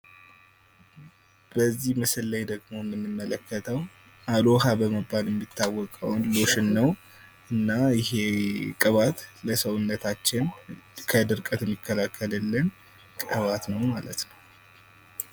በዚህ ምስል ላይ ደግሞ የምንመለከተው አሎሃ በመባል የሚታወቀውን ሎሽን ነው። እና ይሄ ቅባት ለሰውነታችን ከድርቀት የሚከላከልልን ቅባት ነው ማለት ነው።